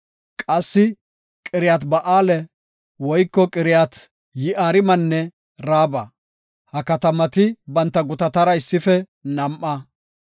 Qassi Qiriyaat-Ba7aale woyko Qiriyat-Yi7aarimanne Raaba. Ha katamati banta gutatara issife nam7a.